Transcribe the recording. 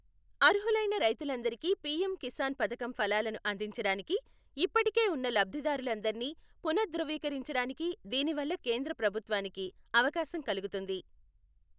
అర్హులైన రైతులందరికీ పీఎం కిసాన్ పథకం ఫలాలను అందించడానికి, ఇప్పటికే ఉన్న లబ్ధిదారులందరినీ పునఃధృవీకరించడానికి దీనివల్ల కేంద్ర ప్రభుత్వానికి అవకాశం కలుగుతుంది.